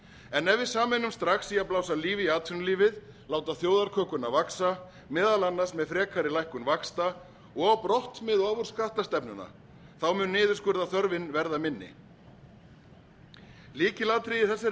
en ef við sameinumst strax í að blása lífi í atvinnulífið láta þjóðarkökuna vaxa meðal annars með frekari lækkun vaxta og á brott með ofurskattstefnuna mun niðurskurðarþörfin verða minni lykilatriðið í þessari